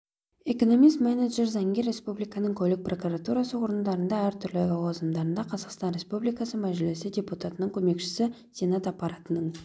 экономис-менеджер заңгер республиканың көлік прокуратурасы органдарында әртүрлі лауазымдарда қазақстан республикасы мәжілісі депутатының көмекшісі сенат аппаратының